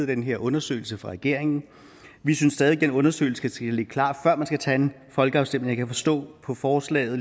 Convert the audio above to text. den her undersøgelse fra regeringen vi synes stadig væk den undersøgelse skal ligge klar før man skal tage en folkeafstemning jeg kan forstå på forslaget at